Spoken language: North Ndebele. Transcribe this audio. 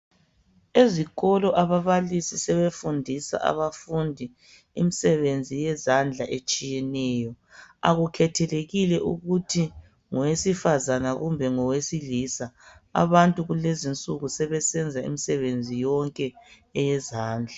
Ezikolo ababalisi sebefundisa abafundi imisebenzi yezandla etshiyeneyo. Akukhethelekile ukuthi ngowesifazana kumbe ngowesilisa abantu kulezinsuku sebesenza imisebenzi yonke eyezandla.